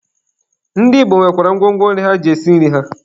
Ndị Igbo nwekwara ngwo ngwo nri ha ji esi nri ha.